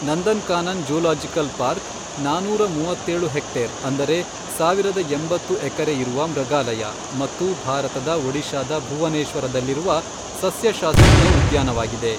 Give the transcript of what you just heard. Nandankanan zoological park, ನಾನೂರ ಮೂವತ್ತೇಳು hectare ಅಂದರೆ ಸಾವಿರದ ಎಂಬತ್ತು ಎಕರೆ ಇರುವ ಮೃಗಾಲಯ ಮತ್ತು ಭಾರತದ ಒಡಿಶಾದ ಭುವನೇಶ್ವರದಲ್ಲಿರುವ ಸಸ್ಯಶಾಸ್ತ್ರೀಯ ಉದ್ಯಾನವಾಗಿದೆ.